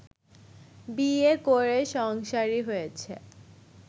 বিয়ে করে সংসারি হয়েছে